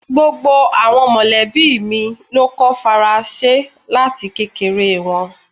Gbogbo awọn mọlẹbi mi lo kọ́ Faransé lati kekere wọn